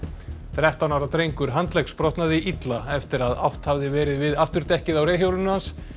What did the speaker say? þrettán ára drengur handleggsbrotnaði illa eftir að átt hafði verið við afturdekkið á reiðhjóli hans